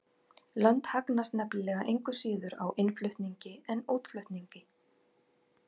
Lönd hagnast nefnilega engu síður á innflutningi en útflutningi.